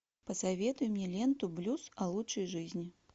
посоветуй мне ленту блюз о лучшей жизни